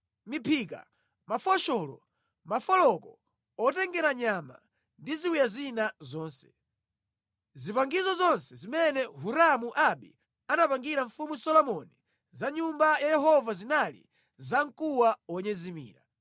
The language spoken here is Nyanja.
Miphika, mafosholo, mafoloko otengera nyama ndi ziwiya zina zonse. Zipangizo zonse zimene Hiramu Abi anapangira Mfumu Solomoni za mʼNyumba ya Yehova zinali zamkuwa wonyezimira.